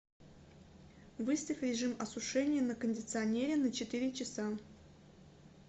выставь режим осушения на кондиционере на четыре часа